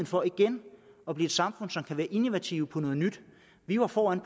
for igen at blive et samfund som kan være innovativt vi var foran